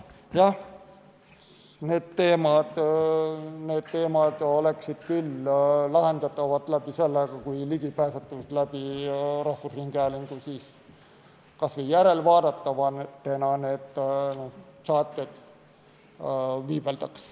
Jah, need teemad oleksid küll lahendatavad, kui rahvusringhäälingus kas või järelvaadatavatena oleksid need saated viibeldud.